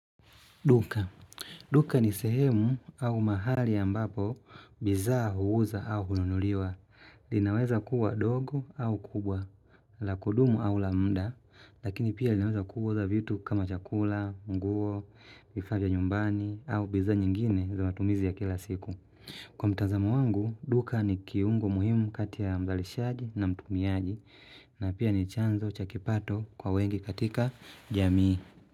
Duka. Duka ni sehemu au mahali ambapo bizaa huuza au hulunuliwa. Linaweza kuwa dogo au kubwa. Lakudumu au lamda, lakini pia linaweza kuwa za vitu kama chakula, nguo, vifaa vya nyumbani au bizaa nyingine za matumizi ya kila siku. Kwa mtazamo wangu, duka ni kiungo muhimu kati ya mzalishaji na mtumiaji. Na pia ni chanzo chakipato kwa wengi katika jamii.